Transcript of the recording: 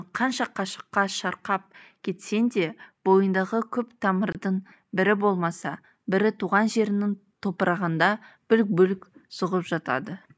қанша қашыққа шырқап кетсең де бойыңдағы көп тамырдың бірі болмаса бірі туған жеріңнің топырағында бүлк бүлк соғып жатады